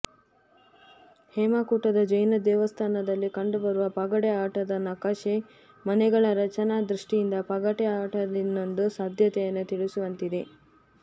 ಹೇಮಕೂಟದ ಜೈನ ದೇವಸ್ಥಾನದಲ್ಲಿ ಕಂಡುಬರುವ ಪಗಡೆ ಆಟದ ನಕಾಶೆ ಮನೆಗಳ ರಚನಾ ದೃಷ್ಟಿಯಿಂದ ಪಗಡೆಯಾಟದಿನ್ನೊಂದು ಸಾಧ್ಯತೆಯನ್ನು ತಿಳಿಸುವಂತಿದೆ